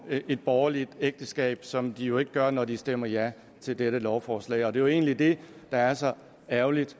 et borgerligt ægteskab som de jo ikke gør når de stemmer ja til dette lovforslag det er jo egentlig det der er så ærgerligt